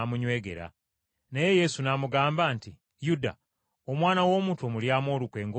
Naye Yesu n’amugamba nti, “Yuda, Omwana w’Omuntu omulyamu olukwe ng’omugwa mu kifuba?”